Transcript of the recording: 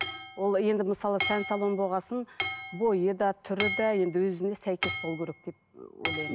ол енді мысалы сән салоны болған соң бойы да түрі де енді өзіне сәйкес болуы керек деп ы ойлаймын